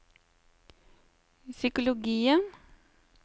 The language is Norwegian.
psykologien